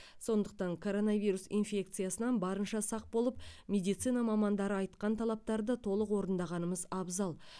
сондықтан коронавирус инфекциясынан барынша сақ болып медицина мамандары айтқан талаптарды толық орындағанымыз абзал